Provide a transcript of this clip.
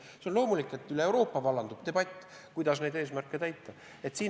See on loomulik, et üle Euroopa vallandub debatt, kuidas neid eesmärke täita.